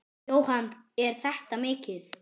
Jóhann: Er þetta mikið?